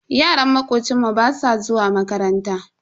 Yaran makocinmu basu zuwa makaranta.